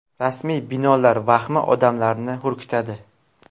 Rasmiy binolar vahmi odamlarni hurkitadi.